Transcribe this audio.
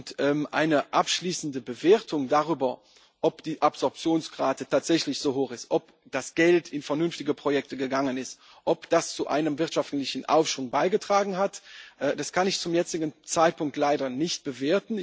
Und eine abschließende Bewertung darüber, ob die Absorptionsrate tatsächlich so hoch ist, ob das Geld in vernünftige Projekte gegangen ist, ob das zu einem wirtschaftlichen Aufschwung beigetragen hat, kann ich zum jetzigen Zeitpunkt leider nicht abgeben.